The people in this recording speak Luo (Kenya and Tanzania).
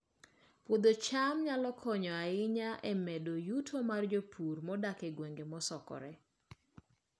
Puodho cham nyalo konyo ahinya e medo yuto mar jopur modak e gwenge mosokore